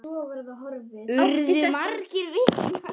Átti þetta að heita ást?